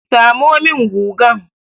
Samo min gugan!